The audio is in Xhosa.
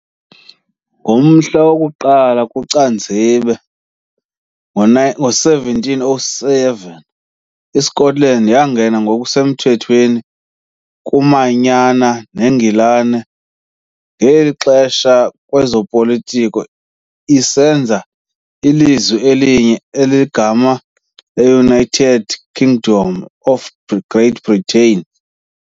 Ngomhla woku-1 kuCanzibe ngo-1707 iScotland yangena ngokusemthethweni kumanyana neNgilani, ngeli xesha ngokwezopolitiko, isenza ilizwe elinye elinegama le-United Kingdom of Great Britain.